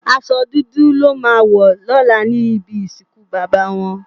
Àsò dúdú lò má wò lòlá nibi isinkú baba wòn